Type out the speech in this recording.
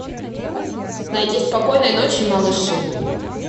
найди спокойной ночи малыши